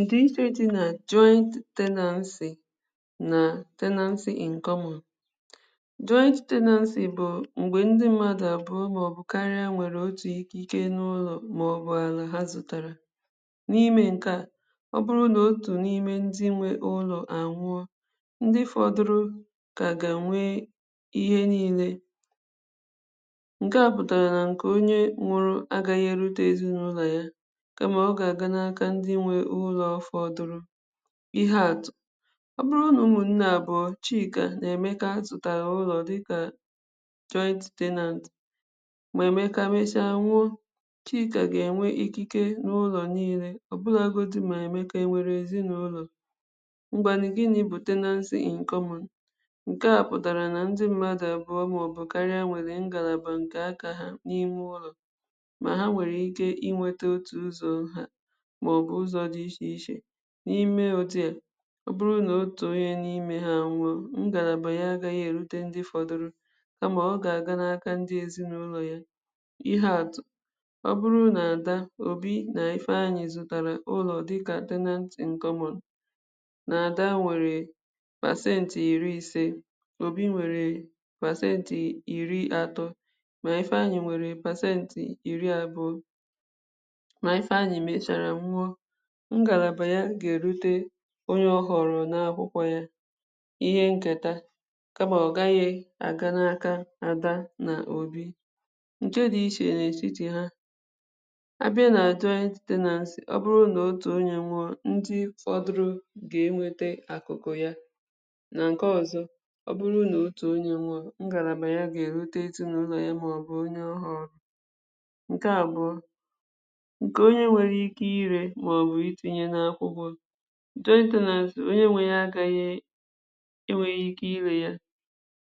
Ndiche dị̀ na jointi Tenancy na tenancy in common joint tenancy bụ̀ mgbe ndị̀ mmadụ̀ abụọ̀ maọ̀bụ̀ karià nwere otù ihe ike n’ulọ̀ maọbụ̀ alà ha zụtarà n’ime nke à ọ bụrụ̀ na otù n’ime ndị̀ nwe ụlọ̀ anwụọ̀ ndị̀ fọdụrụ̀ ka ga-nwee ihe niine nke à pụtarà na nke onye nwụrụ̀ agaghị̀ erutezi n’ụlọ̀ yà kamà ọ ga-aga n’aka ndị̀ nwe ụlọ̀ fọdụrụ̀ ihe atụ̀ ọ bụrụ̀ na ụmụnne abụọ̀ Chịkà na Emekà zụtarà ụlọ̀ dịkà Joint Tenant ma Emekà mesià nwụọ̀ Chịkà ga-enwe ike n’ụlọ̀ niine ọ bụragodò mà Emekà e nwere ezinaụlọ̀ ngwanụ̀, gịnị̀ bụ̀ tenancy in common? Nke à pụtarà na ndị̀ mmadụ̀ abụọ̀ maọ̀bụ̀ karịà nwere ngalabà nke akà ha n’iwu ma ha nwere ike inwetà otù ụzọ̀ ha maọ̀bụ̀ ụzọ̀ dị iche ichè n’ime otù e ọ bụrụ̀ n’otù onye n’ime ha nwụrụ ngalabà yà agaghị̀ erute ndị̀ fọdụrụ̀ kamà ọ ga-aga n’akà ndị̀ ezinaụlọ̀ yà ihe atụ̀ ọ bụrụ̀ na Adà, Obì na Ifeanyị̀ zù tarà ụlọ̀ dịkà tenant in common na Adà nwere percenti iri-ise Obì nwere percenti iri-atọ̀ ma Ifeanyị̀ nwere percenti iri-abụọ̀ ma Ifeanyị̀ mecharà nwụọ̀ ngalabà yà ga-erute onye ahụrụ̀ n’akwụkwọ̀ yà ihe nketà kamà ọ gaghị a ga n’akà Adà na Obì nke dị iche n’etiti hà a bịà na joint tenancy, ọ bụrụ̀ na otù onye nwụọ̀, ndị̀ fọdụrụ̀ ga-enwete akụkụ̀ yà na nke ọzọ̀ ọ bụrụ̀ na otù onye nwụọ̀ ngalabà yà ga-erutetù n’ụlọ̀ yà maọ̀bụ̀ onye ọ ha nke abụọ̀ nke onye nwere ike ire maọ̀bụ̀ itinye n’akwụkwọ̀ joint tenants, onye nwe ya agaghị eweghi ike ire yà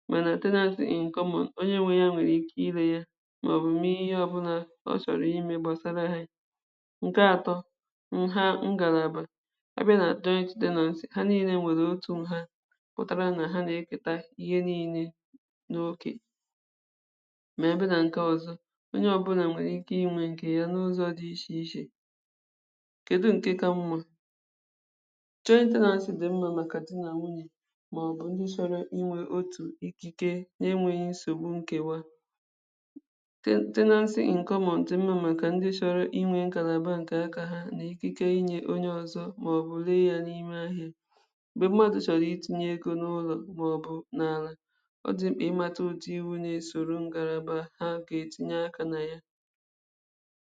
manà tenancy in common onye nwe yà nwere ike ire yà maọ̀bụ̀ mee ihe ọbụna ọ chọrọ̀ ime gbasara ha nke atọ̀ nha ngalabà a bịà na joint tenancy, ha niine nwere otù nha pụtarà nà ha na-eketà ihe niine n’okè ma a bịà nà nke ọzọ̀ onye ọbụnà nwere ike inwe nke yà n’ụzọ̀ dị̀ iche ichè kedù nke ka mma? Joint tenancy dị̀ mma makà dị na nwunyè maọ̀bụ̀ ndị̀ chọrọ̀ inwe o mpị̀ dị na-enweghì nsogbù nkewà ten, tenancy in common dị mma makà ndị chọrọ̀ inwe ngalabà nke akà ha nị dịkà inye yà onye ọzọ̀ maọ̀bụ̀ leghalì naghì mgbe mmadụ̀ chọrọ̀ itinye egō n’ụlọ̀ maọ̀bụ̀ n’alà ọ dị̀ mma ịmatà otù iwù na-esoro ngalabà ha ga-etinye akà na yà